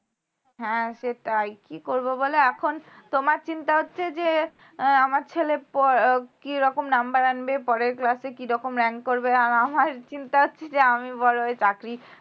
হ্যাঁ সেটাই কি করবো বল এখন তোমার চিন্তা হচ্ছে যে আমার ছেলে পয় উম কী রকম number আনবে পরের class এ কী রকম rank করবে আর আমার চিন্তা হচ্ছে যে আমি বড় হয়ে চাকরি